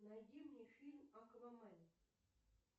найди мне фильм аквамен